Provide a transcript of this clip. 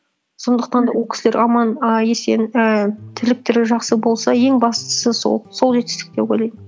сондықтан да ол кісілер аман і есен і тірліктері жақсы болса ең бастысы сол сол жетістік деп ойлаймын